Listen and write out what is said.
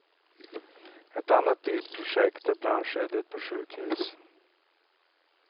Ett annat dyrt projekt är brandskyddet på sjukhus.